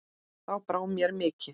Þá brá mér mikið